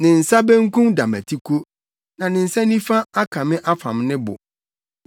Ne nsa benkum da mʼatiko na ne nsa nifa aka me afam ne bo.